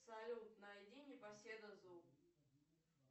салют найди непоседа зу